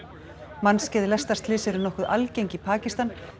mannskæð lestarslys eru nokkuð algeng í Pakistan